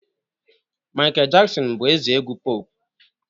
Michael Jackson bu eze egwu puopu